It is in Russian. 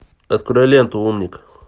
открой ленту умник